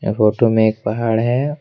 Photo में एक पहाड़ है।